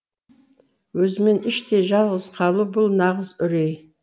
өзімен іштей жалғыз қалу бұл нағыз үрей